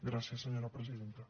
gràcies senyora presidenta